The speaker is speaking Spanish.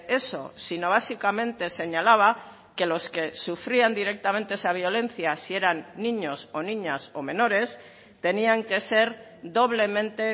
eso sino básicamente señalaba que los que sufrían directamente esa violencia si eran niños o niñas o menores tenían que ser doblemente